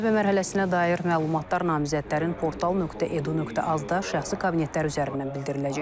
Müsahibə mərhələsinə dair məlumatlar namizədlərin portal.edu.az-da şəxsi kabinetlər üzərindən bildiriləcək.